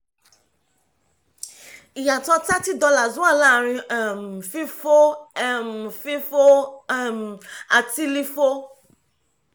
ìyàtọ̀ thirty dollars wà láàárín um fífó um fífó um àti lífó